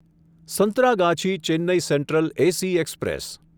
Santragachi Chennai central AC express